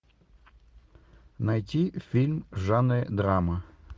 найти фильм в жанре драма